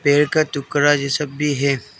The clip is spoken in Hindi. पेड़ का टुकड़ा जैसा भी है।